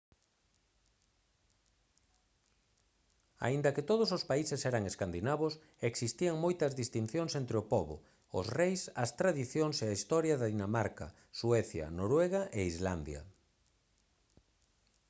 aínda que todos os países eran escandinavos existían moitas distincións entre o pobo os reis as tradicións e a historia de dinamarca suecia noruega e islandia